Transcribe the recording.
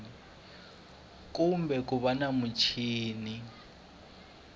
kumbe ku va na muchini